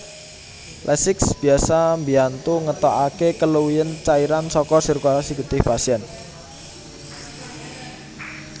Lasix bisa mbiyantu ngetokake keluwihen cairan saka sirkulasi getih pasien